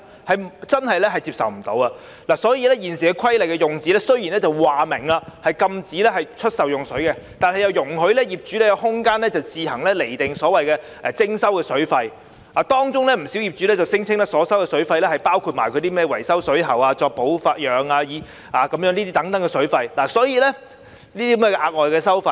雖然現時《水務設施規例》明文訂明禁止出售用水，但卻容許業主有空間自行釐定徵收的水費，當中有不少業主便聲稱自己所收的水費包括維修水喉、保養等額外收費。